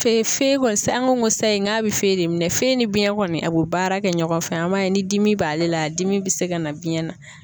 kɔni an ko ko sayi k'a bɛ e de minɛ ni biɲɛ kɔni a bi baara kɛ ɲɔgɔn fɛ, an b'a ye ni dimi b'ale la, a dimi bɛ se ka na biɲɛ na.